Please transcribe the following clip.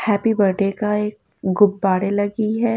Happy birthday का एक गुब्बारें लगी हैं।